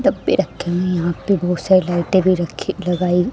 डब्बे रखे है यहा पे बहोत सारे लाइटे भी रखी लगाई--